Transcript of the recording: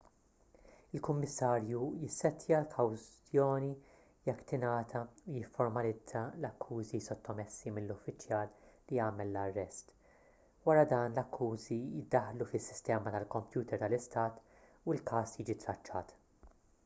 il-kummissarju jissettja l-kawzjoni jekk tingħata u jifformalizza l-akkużi sottomessi mill-uffiċjal li għamel l-arrest wara dan l-akkużi jiddaħħlu fis-sistema tal-kompjuter tal-istat u l-każ jiġi traċċat